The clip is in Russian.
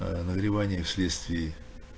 ээ нагревание в следствие